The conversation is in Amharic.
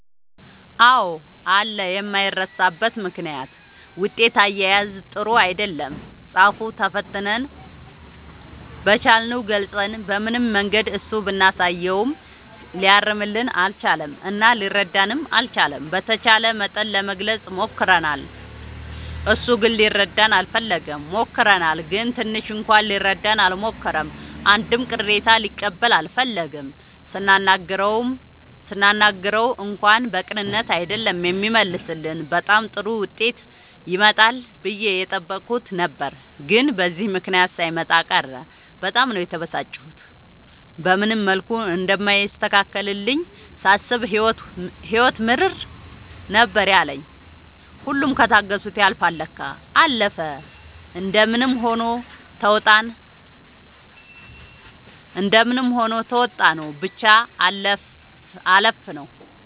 አዎ አለ የማይረሳበት ምክንያት ውጤት አያያዝ ጥሩ አይደለም ፃፍ ተፈትነን በቻልነው ገልፀን በምንም መንገድ እሱ ብናሳየውም ሊያርምልን አልቻለም እና ሊረዳንም አልቻለም። በተቻለ መጠን ለመግለፅ ሞክርናል እሱ ግን ሊረዳን አልፈለገም። ሞክረናል ግን ትንሽ እንኳን ሊረዳን አልሞከረም አንድም ቅሬታ ሊቀበል አልፈለገም ስናናግረው እንኳን በቅንነት አይደለም የሚመልስልን በጣም ጥሩ ዉጤት ይመጣል ብዬ የጠበኩት ነበር ግን በዚህ ምክንያት ሳይመጣ ቀረ በጣም ነው የተበሳጨሁት። በምንም መልኩ እንደማይስተካከልልኝ ሳስብ ህይወት ምርር ነበር ያለኝ ሁሉም ከታገሱት ያልፍል ለካ። አለፈ እንደምንም ሆኖ ተዉጣንው ብቻ አለፍነው።